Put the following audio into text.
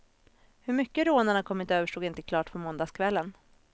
Hur mycket rånarna kommit över stod inte klart på måndagskvällen.